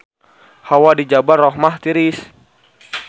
Hawa di Jabal Rahmah tiris